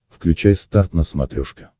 включай старт на смотрешке